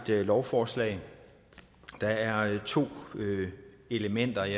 lovforslag og der er to elementer i